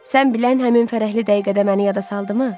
Sən bilən, həmin fərəhli dəqiqədə məni yada saldımı?